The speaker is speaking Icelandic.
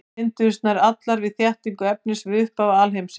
Þær mynduðust nær allar við þéttingu efnis við upphaf alheimsins.